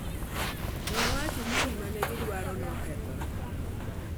Nowacho ni 'gima ne gidwaro' ne okethore.